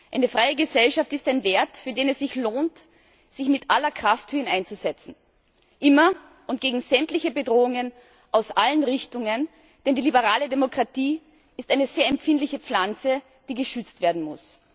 Eine freie Gesellschaft ist ein Wert, für den es sich lohnt, sich mit aller Kraft für ihn einzusetzen immer und gegen sämtliche Bedrohungen aus allen Richtungen, denn die liberale Demokratie ist eine sehr empfindliche Pflanze, die geschützt werden muss.